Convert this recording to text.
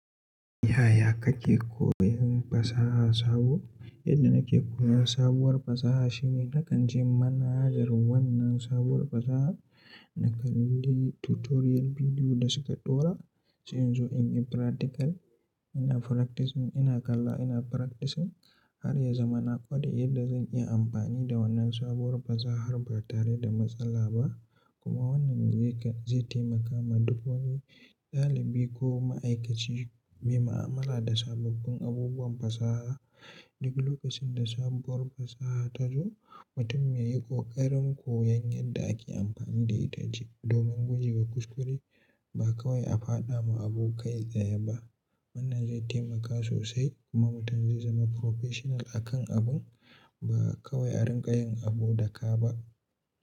Yaya kake koyon fasaha sabo? Yadda nake koyan sabuwar fasaha shine na kan je manhajar wannan sabuwar fasaha, na kalli tutorial bidiyo da su ka ɗora, sai in zo in yi practical. Ina practicing, ina kalla ina practicing har ya zama na kware yadda zan iya amfani da wannan sabuwar fasahar ba tare da matsala ba. Kuma wannan zai taimaka ma duk wani ɗalibi ko ma'aikaci mai ma'amala da sababbin abubuwan fasaha. Duk lokacin da sabuwar fasaha ta zo, mutum ya yi ƙoƙarin koyan yadda ake amfani da ita domin guje wa kuskure ba kawai a fada ma abu kai tsaye ba. Wannan zai taimaka sosai kuma mutum zai zama professional a kan abun ba kawai a rinƙayin abu daka ba.